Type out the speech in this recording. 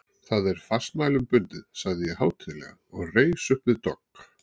Það er fastmælum bundið, sagði ég hátíðlega og reis uppvið dogg.